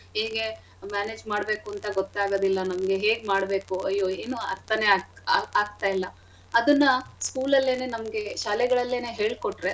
ಹೇಗೆ manage ಮಾಡ್ಬೇಕು ಅಂತ ಗೊತ್ತಾಗದಿಲ್ಲ ನಮ್ಗೆ ಹೇಗ್ ಮಾಡ್ಬೇಕು ಅಯ್ಯೋ ಏನೂ ಅರ್ಥನೇ ಆಗ್~ ಆ ಆಗ್ತಯಿಲ್ಲ ಅದನ್ನ school ಅಲ್ಲೆನೇ ನಮ್ಗೆ ಶಾಲೆಗಳಲ್ಲೆನೇ ಹೇಳ್ಕೊಟ್ರೆ.